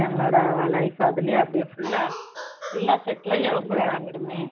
பிள்ளைங்களோட life அதிலயே அப்படியே full ஆ full ஆ settle ஆயி அப்படியே அடங்கிடுமே